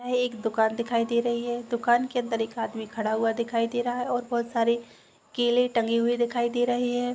यह एक दुकान दिखाई दे रही है दुकान के अंदर एक आदमी खड़ा हुआ दिखाई दे रहा है और बहोत सारे केले टंगे हुए दिखाई दे रहे है।